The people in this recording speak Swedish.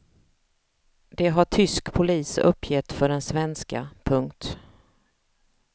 Det har tysk polis uppgett för den svenska. punkt